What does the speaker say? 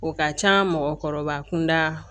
O ka ca mɔgɔkɔrɔba kunda